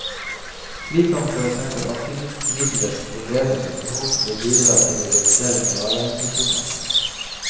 Slik kan for eksempel antimyggmidler forbedres og forhåpentlig bidra til å redusere malariainfeksjoner.